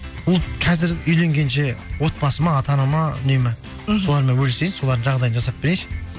қазір үйленгенше отбасыма ата анама үнемі мхм солармен бөлісейін солардың жағдайын жасап берейінші